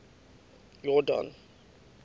yordane